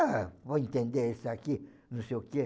Ah, vou entender isso aqui, não sei o quê.